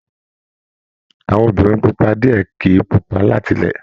Àwọn Obìnrin pupa diẹ kìí pupa látilẹ̀.